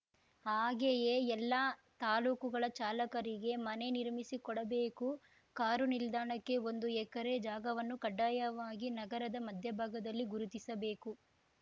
ಹಾಗೆಯೇ ಎಲ್ಲ ತಾಲೂಕುಗಳ ಚಾಲಕರಿಗೆ ಮನೆ ನಿರ್ಮಿಸಿಕೊಡಬೇಕು ಕಾರು ನಿಲ್ದಾಣಕ್ಕೆ ಒಂದು ಎಕರೆ ಜಾಗವನ್ನು ಕಡ್ಡಾಯವಾಗಿ ನಗರದ ಮಧ್ಯಭಾಗದಲ್ಲಿ ಗುರುತಿಸಬೇಕು